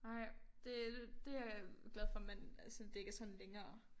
Ej det øh det jeg glad for man altså det ikke er sådan længere